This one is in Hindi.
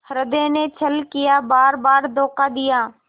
हृदय ने छल किया बारबार धोखा दिया